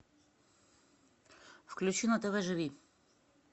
включи на тв живи